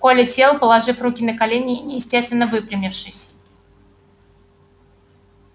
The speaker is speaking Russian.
коля сел положив руки на колени и неестественно выпрямившись